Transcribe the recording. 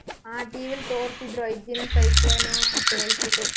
ಹಾ TV ಲ್ ತೋರ್ಸಿದ್ರು ಐದ್ ದಿನ cyclone ಉ ಅಂತ ಹೇಳ್ತಿದ್ರು.